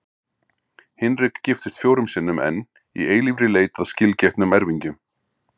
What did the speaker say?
Hinrik giftist fjórum sinnum enn, í eilífri leit að skilgetnum erfingjum.